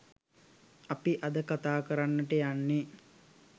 අපි අද කතා කරන්නට යන්නේ.